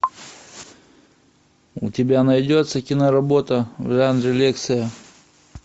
у тебя найдется киноработа в жанре лекция